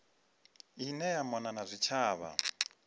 ine ya mona na zwitshavha